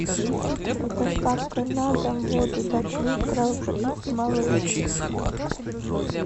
с доставкой на дом воду пять литров малыш